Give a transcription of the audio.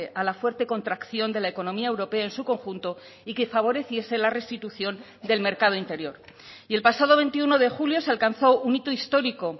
a la fuerte contracción de la economía europea en su conjunto y que favoreciese la restitución del mercado interior y el pasado veintiuno de julio se alcanzó un hito histórico